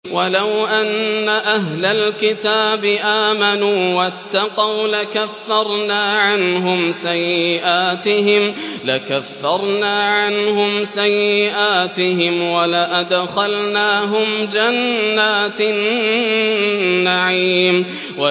وَلَوْ أَنَّ أَهْلَ الْكِتَابِ آمَنُوا وَاتَّقَوْا لَكَفَّرْنَا عَنْهُمْ سَيِّئَاتِهِمْ وَلَأَدْخَلْنَاهُمْ جَنَّاتِ النَّعِيمِ